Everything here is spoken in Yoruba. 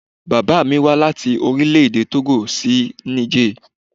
Bàbá mí wá láti Orílẹ̀-èdè Tógò sí Niger.